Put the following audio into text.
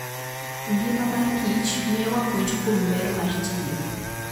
Ngima mar kich miyowa puonj kuom ber mar tiyo.